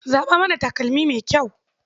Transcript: Zaɓa mana takalmi mai kyau.